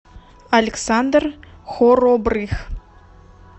александр хоробрых